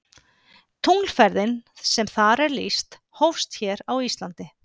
Tunglferðin sem þar er lýst hófst hér á Íslandi.